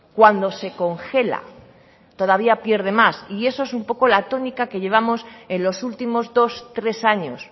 cuando se congela todavía pierde más y eso es un poco la tónica que llevamos en los últimos dos tres años